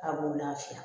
A b'u lafiya